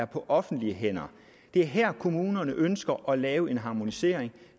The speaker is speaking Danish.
på offentlige hænder det er her kommunerne ønsker at lave en harmonisering